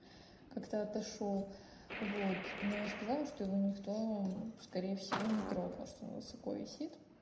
как-то отошёл вот но я сказала что его никто скорее всего не трогал что он высоко висит